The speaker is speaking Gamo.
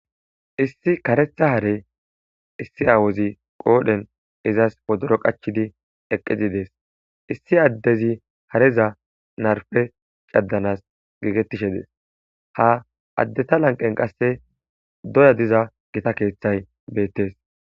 issi karetha hare issi awozi qoodhen izas podoro qachchidi eqqizidees issi addezi hareza narpe caddanas geegettishe dees ha addeta lanqen qasse doya diza gita keeththay beettes